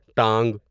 ٹانگ